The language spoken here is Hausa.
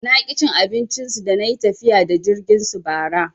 Naki cin abincin su dana yi tafiya da jirgin su bara.